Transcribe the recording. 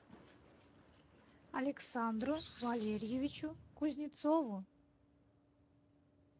александру валерьевичу кузнецову